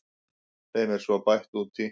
Þeim er svo bætt út í.